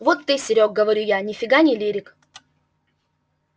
вот ты серёг говорю я нифига не лирик